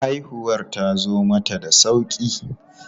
Haihuwar tazo mata da sauƙi.